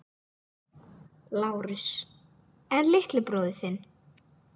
LÁRUS: En litli bróðir þinn?